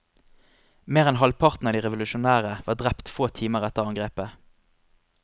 Mer enn halvparten av de revolusjonære var drept få timer etter angrepet.